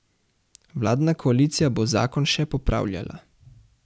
Vladna koalicija bo zakon še popravljala.